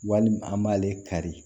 Walima an b'ale kari